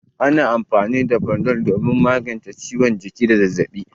Ana amfani da Panadol a magance ciwon jiki da zazzabi.